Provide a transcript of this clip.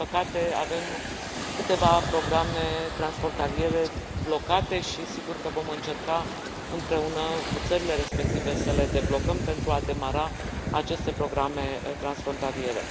Din păcate, avem câteva programe transfrontaliere blocate și sigur că vom încerca împreună cu țările respective să le deblocăm pentru a demara aceste programe transfrontaliere.